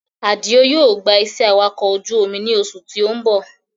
Àdìó yóò gbà iṣẹ́ awakọ̀ ojú omi ní oṣù tí ó ń bọ̀